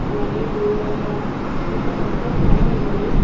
అలాగే దూరంగా ఒక పెద్ద తెర ఉంది.